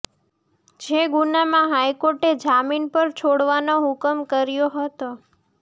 જે ગુનામાં હાઇકોર્ટે જામીન પર છોડવાનો હુકમ કર્યો હતો